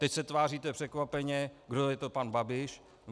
Teď se tváříte překvapeně, kdo je to pan Babiš.